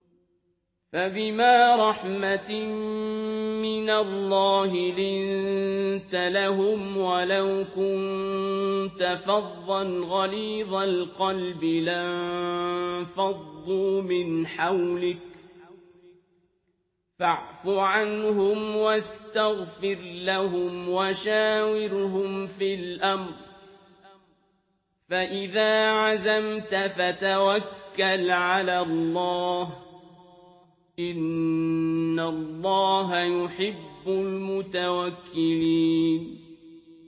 فَبِمَا رَحْمَةٍ مِّنَ اللَّهِ لِنتَ لَهُمْ ۖ وَلَوْ كُنتَ فَظًّا غَلِيظَ الْقَلْبِ لَانفَضُّوا مِنْ حَوْلِكَ ۖ فَاعْفُ عَنْهُمْ وَاسْتَغْفِرْ لَهُمْ وَشَاوِرْهُمْ فِي الْأَمْرِ ۖ فَإِذَا عَزَمْتَ فَتَوَكَّلْ عَلَى اللَّهِ ۚ إِنَّ اللَّهَ يُحِبُّ الْمُتَوَكِّلِينَ